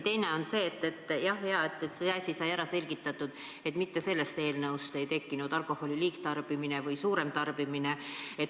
Teiseks, jah, hea, et see asi sai ära selgitatud, et mitte sellest eelnõust ei tekkinud alkoholi liigtarbimine või suurem tarbimine.